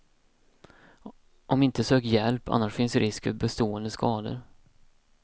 Om inte sök hjälp, annars finns risk för bestående skador.